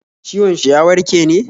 ciwon shi ya warke ne?